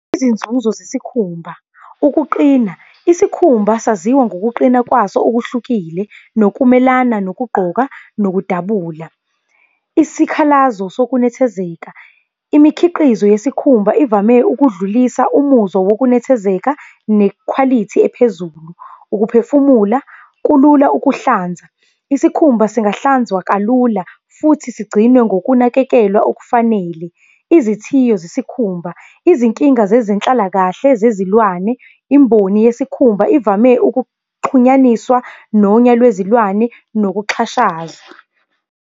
Izinzuzo zesikhumba, ukuqina, isikhumba saziwa ngokuqina kwaso okuhlukile, nokumelana nokugqoka nokudabula. Isikhalazo sokunethezeka, imikhiqizo yesikhumba ivame ukudlulisa umuzwa wokunethezeka nekhwalithi ephezulu. Ukuphefumula, kulula ukuhlanza, isikhumba singahlanzwa kalula futhi sigcinwe ngokunakekela okufanele. Izithiyo zesikhumba, izinkinga zezenhlalakahle zezilwane. Imboni yesikhumba ivame ukuxhunyaniswa nonya lwezilwane nokuxhashazwa.